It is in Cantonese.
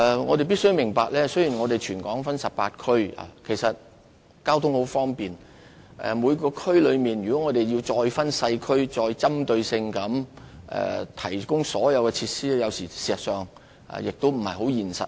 我們必須明白，雖然全港分為18區，但交通十分方便，如果我們再每個社區細分，針對性地提供所有設施，有時候亦不切實際。